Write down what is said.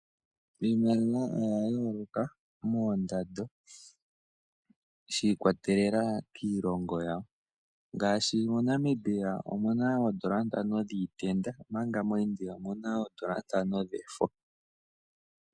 Iimaliwa oyayooloka moondando shiikwatelela kiiloongo yawo. Ngaashi moNamibia omuna oondola ntano dhiitenda mpanga moIndia omuna oondola ntano dhefo.